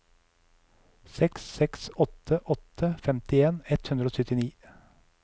seks seks åtte åtte femtien ett hundre og syttini